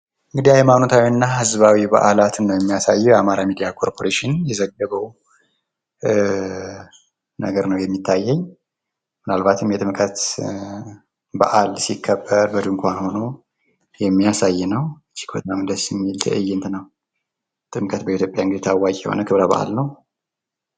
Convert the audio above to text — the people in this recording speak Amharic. እንግዲህ ሃይማኖታዊና ማህበራዊ ጉዳይ ነው ሚገልፀው ።አማራ ሚዲያ ኮርፖሬሽን ላይ የሚታየው ምን አልባትም የጥምቀት በዓል ሲከበር የሚያሳይ ነው ።በጣም ደስ የሚል ትእይንት ነው። ጥምቀት እንግዲህ በኢትዮጵያ ታዋቂ የሆነ ክብረ በዓል ነው ።